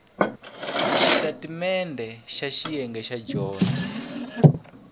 xitatimendhe xa xiyenge xa dyondzo